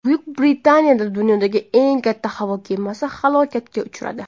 Buyuk Britaniyada dunyodagi eng katta havo kemasi halokatga uchradi.